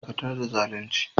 Dakatar da zalunci!